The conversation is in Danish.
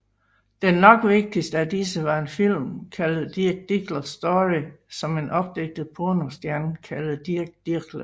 Den nok vigtigste af disse var en film kaldet The Dirk Diggler Story om en opdigtet pornostjerne kaldet Dirk Diggler